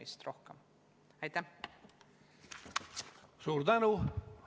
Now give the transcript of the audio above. Suur tänu!